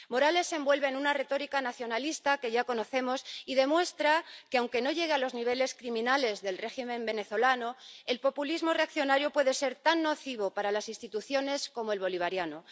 Morales se envuelve en una retórica nacionalista que ya conocemos y demuestra que, aunque no llegue a los niveles criminales del régimen venezolano, el populismo reaccionario puede ser tan nocivo para las instituciones como el bolivariano.